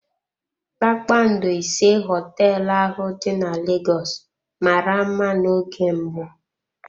Kpakpando ise hoteelu ahụ dị na Lagos mara mma n'oge mbụ.